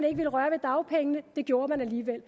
ville røre ved dagpengene det gjorde man alligevel